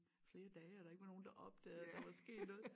Flere dage og der ikke var nogen der opdagede at der var sket noget